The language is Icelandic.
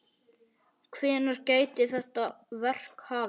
Hvenær gæti þetta verk hafist?